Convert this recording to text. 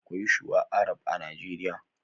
Akwai shuwa arab a nigeria